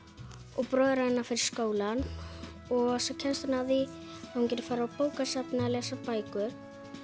og bróðir hennar fer í skólann og svo kemst hún að því að hún getur farið á bókasafnið að lesa bækur